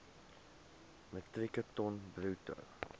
metrieke ton bruto